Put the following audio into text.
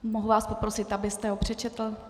Mohu vás poprosit, abyste ho přečetl?